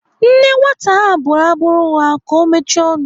Nne nwata ahụ bụrụ abụ nwa ka ọ mechie ọnụ.